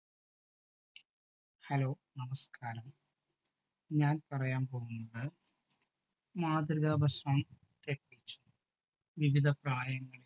hello നമസ്കാരം. ഞാൻ പറയാൻ പോകുന്നത് മാതൃക ഭക്ഷണത്തെ കുറിച്ച്. വിവിധ പ്രായത്തിലുള്ള